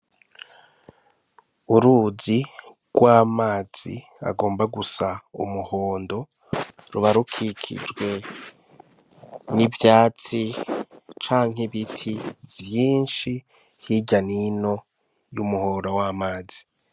Uruzi rw'amazi agomba gusa n'umuhondo ruba rukikijwe n'ivyatsi canke ibiti vyinshi hirya n'ino y'umuhora w'amazi.